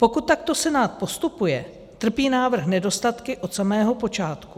Pokud takto Senát postupuje, trpí návrh nedostatky od samého počátku.